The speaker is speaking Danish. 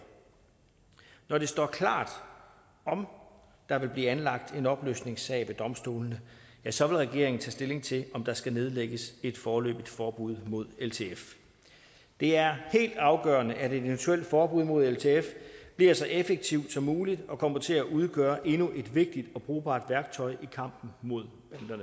når det står klart om der vil blive anlagt en opløsningssag ved domstolene så vil regeringen tage stilling til om der skal nedlægges et foreløbigt forbud mod ltf det er helt afgørende at et eventuelt forbud mod ltf bliver så effektivt som muligt og kommer til at udgøre endnu et vigtigt og brugbart værktøj i kampen mod